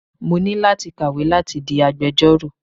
Mo ní láti kàwé láti di agbejọ́rò.